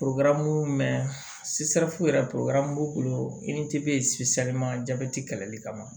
yɛrɛ b'u bolo i ni ce jabɛti kɛlɛli kama